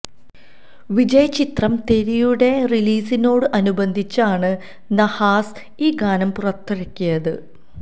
വിജയ് ചിത്രം തെരിയുടെ റിലീസിനോട് അനുബന്ധിച്ചാണ് നഹാസ് ഈ ഗാനം പുറത്തിറക്കിയത്